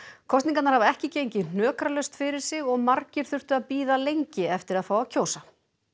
kosningarnar hafa ekki gengið hnökralaust fyrir sig og margir þurftu að bíða lengi eftir að fá að kjósa